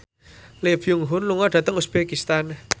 Lee Byung Hun lunga dhateng uzbekistan